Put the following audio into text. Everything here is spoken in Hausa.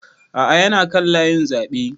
A'a ya na kan layin zaɓe